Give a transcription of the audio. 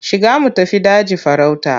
Shiga mu tafi daji farauta.